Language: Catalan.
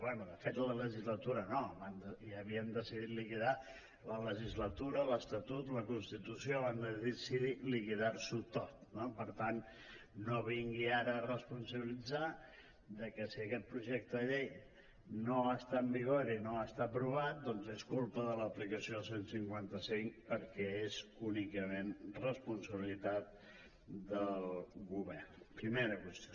bé de fet la legislatura no ja havien decidit liquidar la legislatura l’estatut la constitució van decidir liquidar ho tot no per tant no vingui ara a responsabilitzar que si aquest projecte de llei no està en vigor i no està aprovat doncs és culpa de l’aplicació del cent i cinquanta cinc perquè és únicament responsabilitat del govern primera qüestió